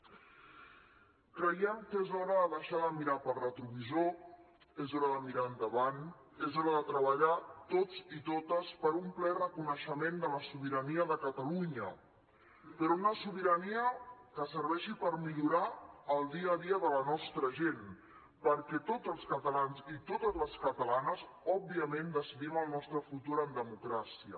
creiem que és hora de deixar de mirar pel retrovisor és hora de mirar endavant és hora de treballar tots i totes per un ple reconeixement de la sobirania de catalunya però una sobirania que serveixi per millorar el dia a dia de la nostra gent perquè tots els catalans i totes les catalanes òbviament decidim el nostre futur en democràcia